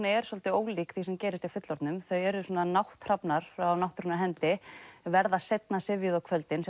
er svolítið ólík því sem gerist hjá fullorðnum þau eru svona nátthrafnar af náttúrunnar hendi verða seinna syfjuð á kvöldin